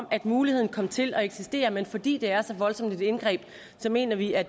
at muligheden kom til at eksistere men fordi det er så voldsomt et indgreb mener vi at